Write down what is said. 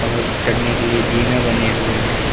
और चढ़ने के लिए जीना बने हुए हैं।